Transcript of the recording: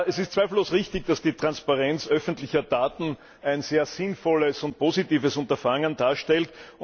Es ist zweifellos richtig, dass die Transparenz öffentlicher Daten ein sehr sinnvolles und positives Unterfangen darstellt.